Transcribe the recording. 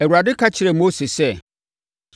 Awurade ka kyerɛɛ Mose sɛ,